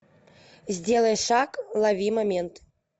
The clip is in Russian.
сделай шаг лови момент